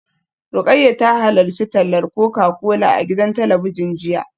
Rukayyah ta halarci tallar Coca-Cola a gidan talabijin jiya